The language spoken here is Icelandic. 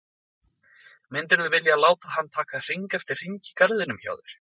Myndirðu vilja láta hann taka hring eftir hring í garðinum hjá þér?